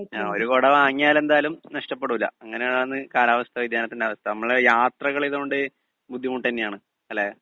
speaker 2 ഒരു കുട വാങ്ങിയാൽ എന്തായാലും നഷ്ടപ്പെടൂല അങ്ങനെയാണ് കാലാവസ്ഥാ വ്യതിയാനത്തിന്റെ അവസ്ഥ നമ്മള് യാത്ര ചെയ്യുന്നോണ്ട് ബുദ്ധിമുട്ട് തന്നെയാണ് അല്ലേ